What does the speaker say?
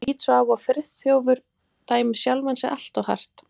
Ég lít svo á að Friðþjófur dæmi sjálfan sig allt of hart.